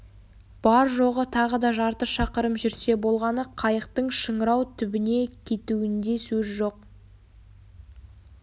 бар-жоғы тағы да жарты шақырым жүрсе болғаны қайықтың шыңырау түбіне кетуінде сөз жоқ